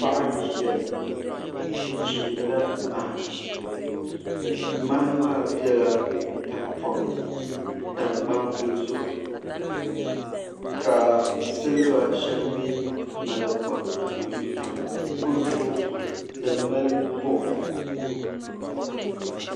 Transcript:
Paɣa n ʒiya o chimdila maha maha maa bɛla tahapoŋ ni n tam gbambili zuɣu ka silba shɛli mii maki kpam n tam kurifooti din mali buɣum